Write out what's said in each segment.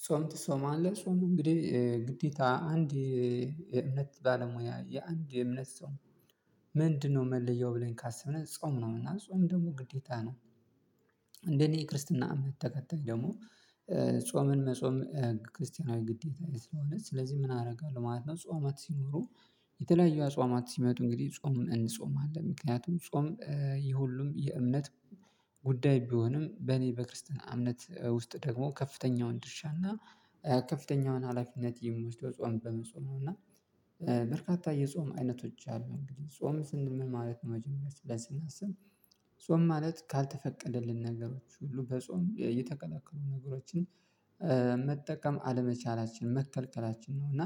አሷም ትሳማለህ አሷም እንግዲህ ግዴታ አንድ የእምነት ባለሙያ የአንድ የእምነት ሰው ምንድነው መለያው ብለን ካሰብነው ጾም ነውና ጾም ደግሞ ግዴታ ነው። እንደኔ የክርስትና እምነት ተከታይ ደግሞ ጾምን መጾም ክርስቲያናዊ ግዴታዬ ስለሆነ ስለዚህ ምን አረጋለሁ ማለት ነው ጾማት ሲኖሩ የተለያየ አጽዋማት ሲመጡ እንግዲህ ጾም እንጾማለን ምክንያቱም ጾም ይሄ ሁሉም የእምነት ጉዳይ ቢሆንም በኔ በክርስትና እምነት ውስጥ ደግሞ ከፍተኛውን ድርሻና ከፍተኛውን ሀላፊነት የሚወስደው ጾም በመጽወም ነው እና በርካታ የጾም አይነቶች አሉን እንግዲህ ጾም ስንል ምን ማለት መጀመሪያ ስለዚህ ስናስብ ጾም ማለት ካልተፈቀደልን ነገሮች ሁሉ በጾም እየተከለከሉ ነገሮችን መጠቀም አለመቻላችን መከልከላችን ነው እና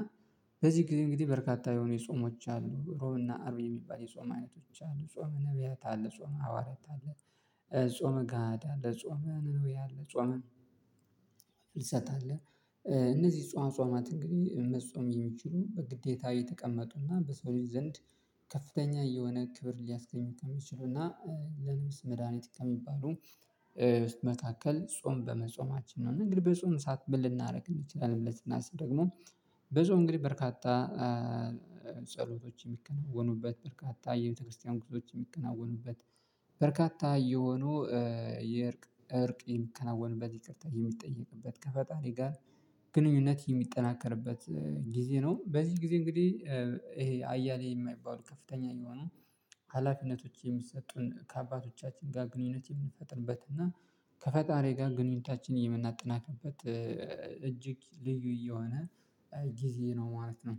በዚህ ጊዜ እንግዲህ በርካታ የሆኑ የጾሞች አሉ ሮብና አርብ የሚባል የጾም አይነቶች አሉ ጾመ ነብያት አለ ጾመ ሐዋርያት አለ። ጾመ ጋዳ አለ ጾመ ነኑያ አለ ጾመ ፍልሰት አለ እነዚህ ጸዋማት እንግዲህ መጾም የሚችሉ በግዴታዊ ተቀመጡና በሰው ልጅ ዘንድ ከፍተኛ የሆነ ክብር ሊያስገኝ ከሚችሉና ለንብስ መድሃኒት ከሚባሉ መካከል ጾም በመጾማችን ነው እና እንግዲህ በጾም እሳት ምን ልናደርግ እንችላለን ብለን ስናስብ ደግሞ በጾም እንግዲህ በርካታ ጸሎቶች የሚከናወኑበት በርካታ የቤተክርስቲያን ግርሶች የሚከናወኑበት በርካታ እየሆኑ የእርቅ እርቅ የሚከናወንበት ይቅርታ የሚጠየቅበት ከፈጣሪ ጋር ግንኙነት የሚጠናከርበት ጊዜ ነው በዚህ ጊዜ እንግዲህ ይሄ አያሌ የማይባሉ ከፍተኛ የሆኑ ሀላፊነቶች የሚሰጡን ከአባቶቻችን ጋር ግንኙነት የምንፈጥርበት እና ከፈጣሪ ጋር ግንኙነታችን የምናጠናክበት እጅግ ልዩ እየሆነ ጊዜ ነው ማለት ነው።